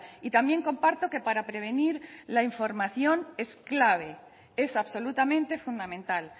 y también comparto que para prevenir la información es clave es absolutamente fundamental